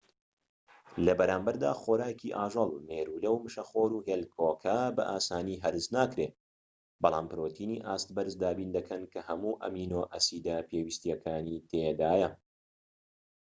لەبەرامبەردا، خۆراکی ئاژەڵ مێرولە، مشەخۆر، هێلکۆکە بە ئاسانی هەرس ناکرێن، بەڵام پرۆتینی ئاست بەرز دابین دەکەن کە هەموو ئەمینۆ ئەسیدە پێویستەکانی تێدایە